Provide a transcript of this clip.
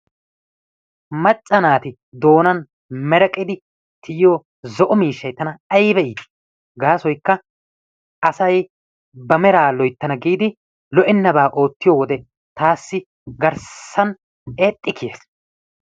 Macca naati doonaan mereqidi tiyo zo"o miishshay tana ayba itti gaasoykka asay ba meraa loyttanna giidi lo"ennabaa ootiyo wode taassi garssan eexxi kiiyiis.